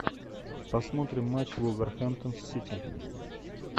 посмотрим матч вулверхэмптон с сити